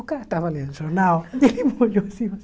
O cara estava lendo o jornal, ele me olhou assim,